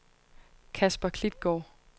Kasper Klitgaard